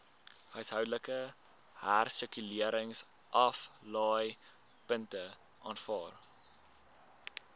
huishoudelike hersirkuleringsaflaaipunte aanvaar